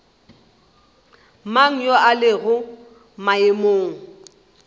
mang yo a lego maemong